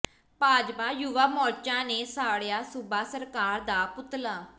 ਭਾਜਪਾ ਯੁਵਾ ਮੋਰਚਾ ਨੇ ਸਾੜਿਆ ਸੂਬਾ ਸਰਕਾਰ ਦਾ ਪੁਤਲਾ